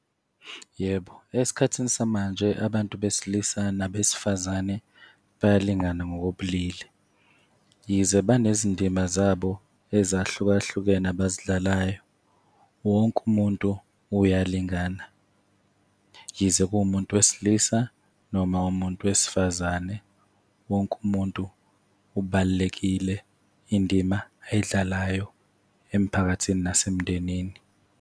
Yebo, esikhathini samanje abantu besilisa nabesifazane bayalingana ngokobulili, yize banezindima zabo ezahlukahlukene abazidlalayo. Wonke umuntu uyalingana, yize kuwumuntu wesilisa noma umuntu wesifazane. Wonke umuntu ubalulekile, indima ayidlalayo emphakathini nasemndenini.